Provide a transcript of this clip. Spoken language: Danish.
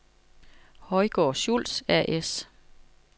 Højgaard & Schultz A/S